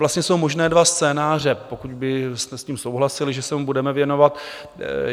Vlastně jsou možné dva scénáře, pokud byste s tím souhlasili, že se mu budeme věnovat.